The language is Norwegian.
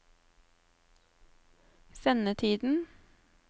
sendetiden